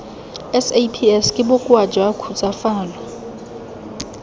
saps ke bokoa jwa khutsafalo